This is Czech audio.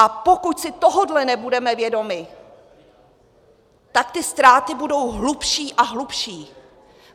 A pokud si tohoto nebudeme vědomi, tak ty ztráty budou hlubší a hlubší.